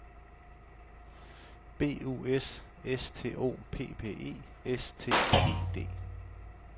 B U S S T O P P E S T E D